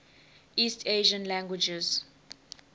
east asian languages